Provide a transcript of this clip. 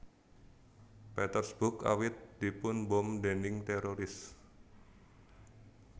Petersburg awit dipun bom déning téroris